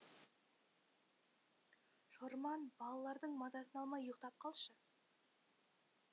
шорман балалардың мазасын алмай ұйықтап қалшы